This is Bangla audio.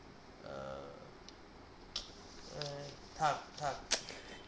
এ থাক থাক